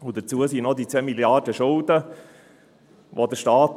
Hinzu kamen die 2 Milliarden Schulden des Staates.